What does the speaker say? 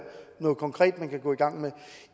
noget konkret man kan gå i gang med